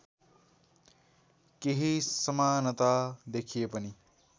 केही समानता देखिए पनि